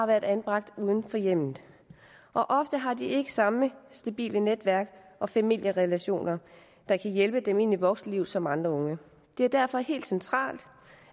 været anbragt uden for hjemmet og ofte har de ikke samme stabile netværk og familierelationer der kan hjælpe dem ind i voksenlivet som andre unge det er derfor helt centralt